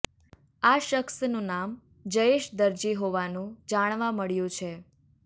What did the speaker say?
આ શખ્સનું નામ જયેશ દરજી હોવાનું જાણવા મળ્યું છે